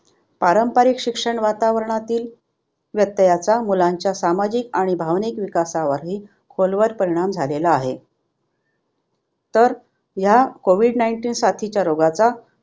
पारंपारिक शिक्षण वातावरणातील व्यत्यायाचा मुलांच्या सामाजिक आणि भावनिक विकासावरहि खोल वर परिणाम झालेला आहे. तर ह्या कोविद nineteen साथीच्या रोगाचा